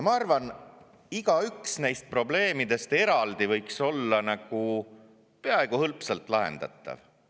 Ma arvan, et igaüks neist probleemidest eraldi võiks olla peaaegu hõlpsalt lahendatav.